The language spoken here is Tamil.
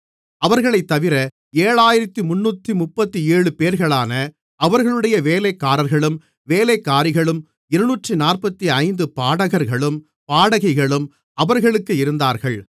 அவர்களைத்தவிர 7337 பேர்களான அவர்களுடைய வேலைக்காரர்களும் வேலைக்காரிகளும் 245 பாடகர்களும் பாடகிகளும் அவர்களுக்கு இருந்தார்கள்